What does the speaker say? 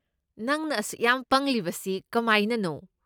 ꯅꯪꯅ ꯑꯁꯨꯛ ꯌꯥꯝ ꯄꯪꯂꯤꯕꯁꯤ ꯀꯃꯥꯏꯅꯅꯣ?